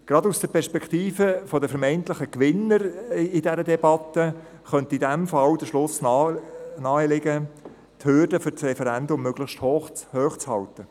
Gerade aus der Perspektive der vermeintlichen Gewinner in dieser Debatte könnte in diesem Fall der Schluss naheliegen, die Hürde für das Referendum sei möglichst hoch zu halten.